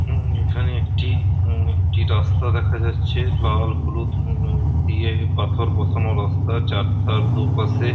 '' এবং এখানে একটি হম একটি রাস্তা দেখা যাচ্ছে''''। লাল হলুদ হুম দিয়ে পাথর বসানো রাস্তা তার দুপাশে-- ''